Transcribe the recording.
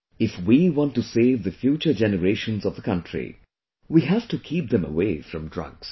If we want to save the future generations of the country, we have to keep them away from drugs